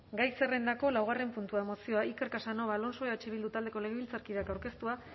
gai zerrendako laugarren puntua mozioa iker casanova alonso eh bildu taldeko legebiltzarkideak aurkeztua